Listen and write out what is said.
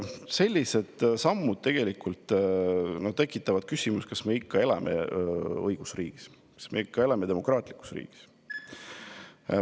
Sellised sammud tekitavad küsimusi, kas me ikka elame õigusriigis, kas me ikka elame demokraatlikus riigis.